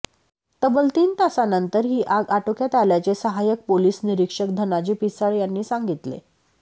तब्बल तीन तासांनंतर ही आग आटोक्यात आल्याचे सहाय्यक पोलीस निरीक्षक धनाजी पिसाळ यांनी सांगितले